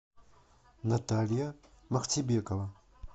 наталья махтибекова